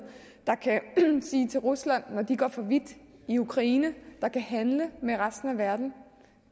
der kan sige til rusland at de går for vidt i ukraine der kan handle med resten af verden